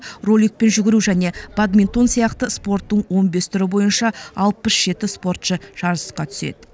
роликпен жүгіру және бадминтон сияқты спорттың он бес түрі бойынша алпыс жеті спортшы жарысқа түседі